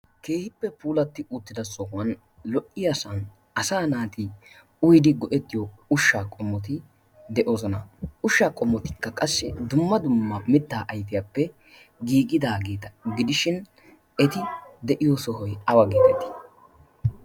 keehippe puulatti uuttida sohuwan lo77iyaasan asa naati uidi go7ettiyo ushshaa qomoti de7oosona ushshaa qomotikka qassi dumma dumma mittaa aifiyaappe giigidaageeta gidishin eti de7iyo sohoi awa giidaitii